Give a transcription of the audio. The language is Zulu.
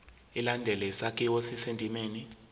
ilandele isakhiwo esisendimeni